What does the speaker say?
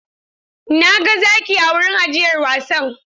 Na ga zaki a wurin ajiyar wasan.